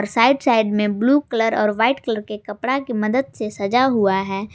Side side में blue colour और white colour के कपड़ा की मदद से सजा हुआ है।